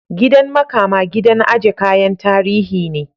Gidan makama gidan aje kayan tarihi ne.